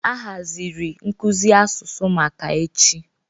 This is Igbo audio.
A haziri nkuzi asụsụ maka echi.